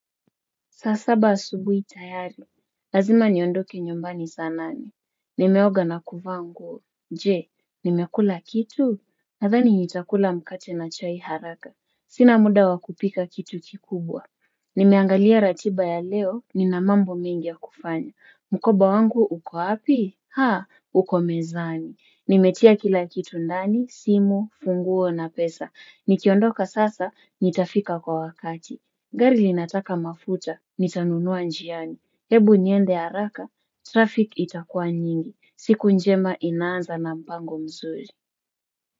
Saa saba asubuhi tayari, lazima niondoke nyumbani saa nane. Nimeoga na kuvaa nguo je, nimekula kitu? Nathani nitakula mkate na chai haraka. Sina muda wa kupika kitu kikubwa. Nimeangalia ratiba ya leo, nina mambo mengi ya kufanya. Mkoba wangu, uko wapi? Haa, uko mezani. Nimetia kila kitu ndani, simu, funguo na pesa. Nikiondoka sasa, nitafika kwa wakati. Gari linataka mafuta, nitanunua njiani, hebu niende haraka, traffic itakua nyingi, siku njema inaanza na mpango mzuri.